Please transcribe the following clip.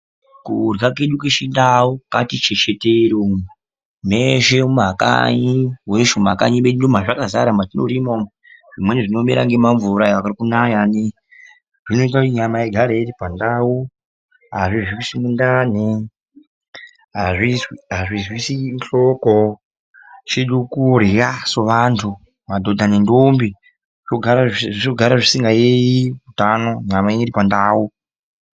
Kurya kwedu kwechindau kwati chechetere umu ,meshe mumakanyi weshi mumakanyi meduu mwazvakazara umu mwatinorima umu, zvimweni zviri kumera ngemamvura aya arikunaya zvinoita kuti nyama igare iripandau azvizwisi ndani, azvizwsi nhloko, chedu kurya sevanhu madhodha nendombi zvogare zvisingayeyi utano nyama yenyu iri pandau.